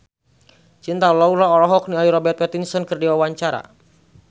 Cinta Laura olohok ningali Robert Pattinson keur diwawancara